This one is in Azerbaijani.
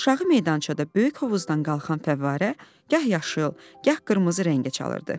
Aşağı meydançada böyük hovuzdan qalxan fəvvarə gah yaşıl, gah qırmızı rəngə çalırdı.